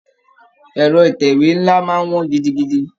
Ẹ̀rọ Ìtẹ̀wé ńlá máa wọn gidigidi